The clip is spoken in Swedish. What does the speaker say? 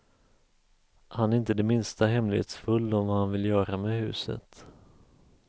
Han är inte det minsta hemlighetsfull om vad han vill göra med huset.